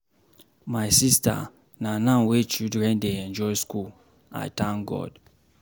My sister, na now wey children dey enjoy school. I thank God.